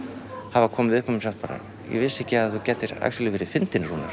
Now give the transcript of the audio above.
hafa komið upp að mér og sagt bara ég vissi ekki að þú gætir verið fyndinn Rúnar